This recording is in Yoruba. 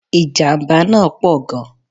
Ìjàmbá náà pọ̀ gan